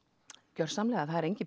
gjörsamlega það er enginn